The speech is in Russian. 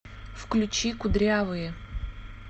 включи кудрявые